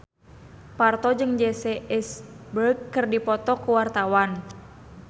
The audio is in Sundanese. Parto jeung Jesse Eisenberg keur dipoto ku wartawan